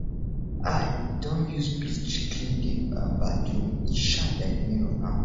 i don use bleach clean di um bathroom e shine like mirror now